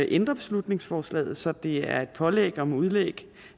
ændre beslutningsforslaget så det er et pålæg om udlæg